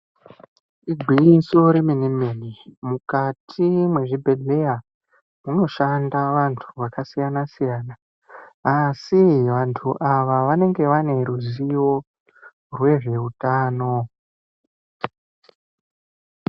Igwinyiso remene mene, mukati mwezvibhedhleya munoshanda vantu akasiyana siyana. Asi vantu ava vanenge vane ruzivo rwezveutano.